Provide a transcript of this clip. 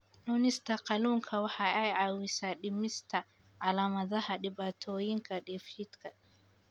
Cunista kalluunka waxa ay caawisaa dhimista calaamadaha dhibaatooyinka dheefshiidka.